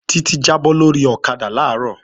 Títí jábọ́ lórí ọ̀kadà làárọ̀